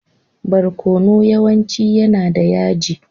Barkonu yawanci yana da yaji.